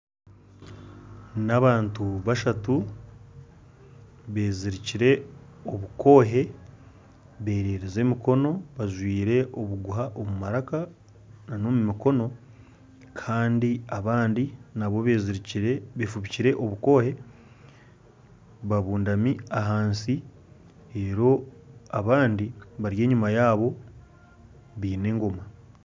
Nabantu bashatu bezirikire omukoohe bereerize emikono bajwaire obuguha omu maraka Kandi nana abandi nabo befubikire obukoohe babundami ahansi reeru abandi bari enyuma yaabo baine engoma